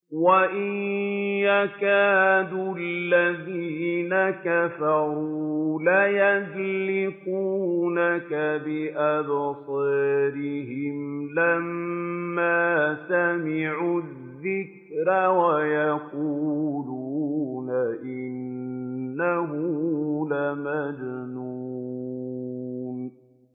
وَإِن يَكَادُ الَّذِينَ كَفَرُوا لَيُزْلِقُونَكَ بِأَبْصَارِهِمْ لَمَّا سَمِعُوا الذِّكْرَ وَيَقُولُونَ إِنَّهُ لَمَجْنُونٌ